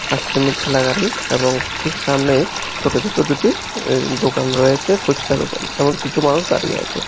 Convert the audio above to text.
আইসক্রিমের ঠেলাগাড়ি এবং ঠিক সামনেই ছোট ছোট দুটি দোকান রয়েছে ফুচকা দোকা এবং কিছু মানুষ দাঁড়িয়ে আছে।